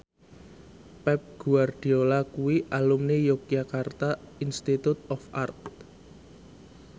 Pep Guardiola kuwi alumni Yogyakarta Institute of Art